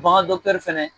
Bagandɔgɔtɔrɔ fɛnɛ